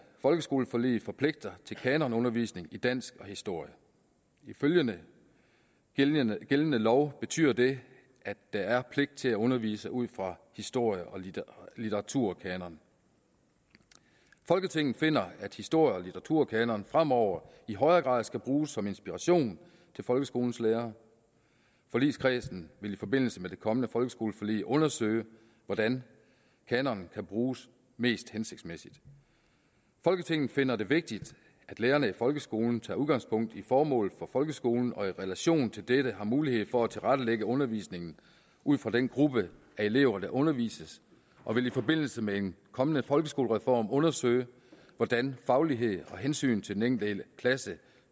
folkeskoleforlig forpligter til kanonundervisning i dansk og historie ifølge gældende gældende lov betyder det at der er pligt til at undervise ud fra historie og litteraturkanoner folketinget finder at historie og litteraturkanonerne fremover i højere grad skal bruges som inspiration til folkeskolens lærere forligskredsen vil i forbindelse med det kommende folkeskoleforlig undersøge hvordan kanonerne kan bruges mest hensigtsmæssigt folketinget finder det vigtigt at lærerne i folkeskolen tager udgangspunkt i formålet for folkeskolen og i relation til dette har mulighed for at tilrettelægge undervisningen ud fra den gruppe af elever der undervises og vil i forbindelse med en kommende folkeskolereform undersøge hvordan faglighed og hensyn til den enkelte klasse